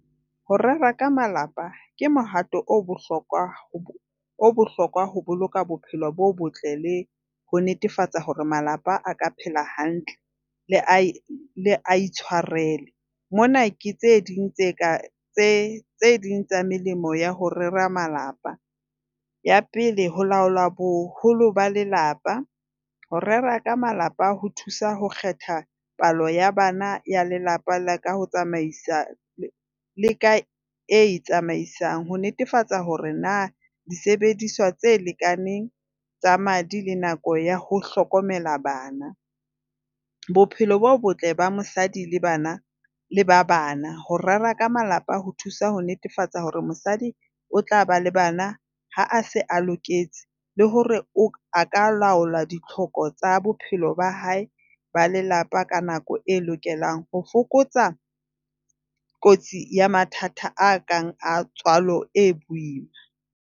Ho reka malapa ke mohato o bohlokwa hlokwa ho boloka bophelo bo botle le ho netefatsa hore malapa a ka phela hantle a itshoarele. Mona ke tse ding tse ding tsa melemo ya ho rera malapa ya pele ho laola boholo ba lelapa ho rera ka malapa ho thusa ho kgetha palo ya bana ya lelapa laka Ho tsamaisa le kae e tsamaisang ho netefatsa hore na disebediswa tse lekaneng tsa madi le nako ya ho hlokomela bana bophelo bo botle ba mosadi le bana le ba bana, ho rera ka malapa ho thusa ho netefatsa hore mosadi o tla ba le bana. Ha se a loketse le hore o ka laola ditlhoko tsa bophelo ba hae ba lelapa ka nako e lokelang ho fokotsa kotsi ya mathata a kang a tswalo e boima.